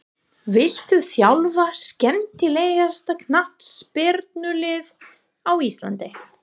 Viltu þjálfa skemmtilegasta knattspyrnulið á Íslandi?